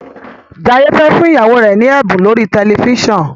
Jaiye fè fún ìyàwó rẹ ní ẹbun lórí tẹlifísàn.